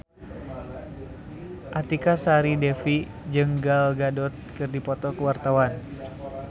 Artika Sari Devi jeung Gal Gadot keur dipoto ku wartawan